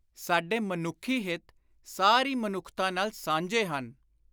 ਸਾਡੇ ਮਨੁੱਖੀ ਹਿੱਤ ਸਾਰੀ ਮਨੁੱਖਤਾ ਨਾਲ ਸਾਂਝੇ ਹਨ।